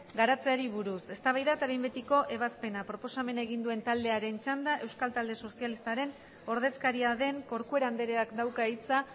garatzeari buruz eztabaida eta behin betiko ebazpena proposamena egin duen taldearen txanda euskal talde sozialistaren ordezkaria den corcuera andreak dauka hitza